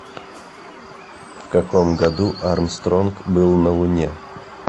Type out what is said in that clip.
в каком году армстронг был на луне